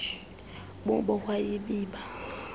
bubo wa nyibiba